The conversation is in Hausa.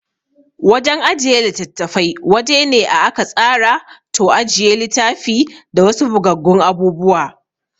Wajan ajiye litattafai wajene a aka tsara to ajiye litafi da wasu bugaggun abubuwa